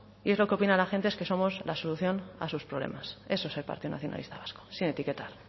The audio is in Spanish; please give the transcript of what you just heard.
y es lo que opina la gente es que somos la solución a sus problemas eso es el partido nacionalista vasco sin etiquetar